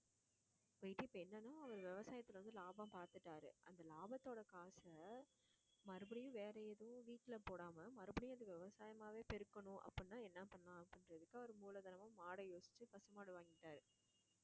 போயிட்டு இப்ப என்னன்னா விவசாயத்துல வந்து லாபம் பாத்துட்டாரு அந்த லாபத்தோட காசை மறுபடியும் வேற ஏதோ வீட்டுல போடாம மறுபடியும் அது விவசாயமாவே பெருக்கணும் அப்படின்னா என்ன பண்ணலாம் அப்படின்றதுக்கு அவர் மூலதனமா மாடை யோசிச்சு பசுமாடு வாங்கிட்டாரு